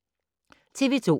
TV 2